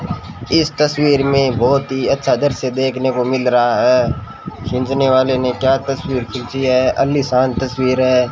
इस तस्वीर में बहोत ही अच्छा दृश्य देखने को मिल रहा है खींचने वाले ने क्या तस्वीर खींची है आलीशान तस्वीर है।